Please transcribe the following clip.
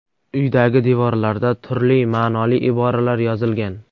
Uydagi devorlarda turli ma’noli iboralar yozilgan.